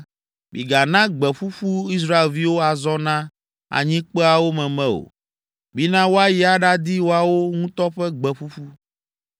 “Migana gbe ƒuƒu Israelviwo azɔ na anyikpeawo meme o; mina woayi aɖadi woawo ŋutɔ ƒe gbe ƒuƒu.